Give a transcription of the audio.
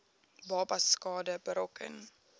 babas skade berokken